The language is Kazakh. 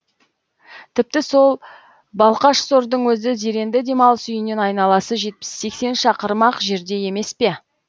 тіпті сол балқашсордын өзі зеренді демалыс үйінен айналасы жетпіс сексен шақырым ақ жерде емес пе